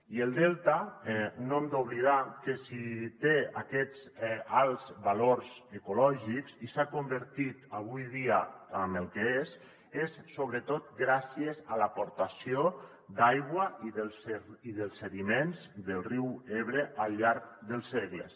i el delta no hem d’oblidar que si té aquests alts valors ecològics i s’ha convertit avui dia en el que és és sobretot gràcies a l’aportació d’aigua i dels sediments del riu ebre al llarg dels segles